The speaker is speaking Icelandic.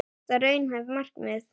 En er þetta raunhæft markmið?